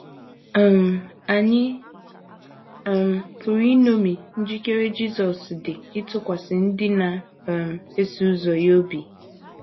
um Ànyị um pụrụ iṅomi njikere Jisọs dị ịtụkwasị ndị na um - eso ụzọ ya obi?